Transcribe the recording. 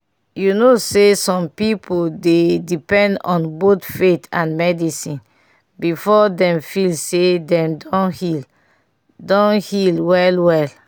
you know say some pipo dey depend on both faith and medicine before dem feel say dem don heal don heal well-well